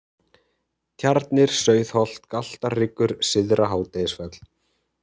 Tjarnir, Sauðholt, Galtarhryggur, Syðra-Hádegisfell